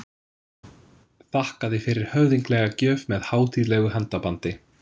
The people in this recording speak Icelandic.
Þakkaði fyrir höfðinglega gjöf með hátíðlegu handabandi.